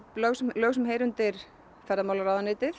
lög sem lög sem heyra undir